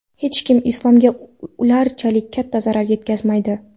Hech kim islomga ularchalik katta zarar yetkazmaydi”.